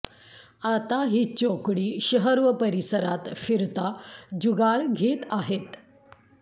आता ही चौकडी शहर व परिसरात फिरता जुगार घेत आहेत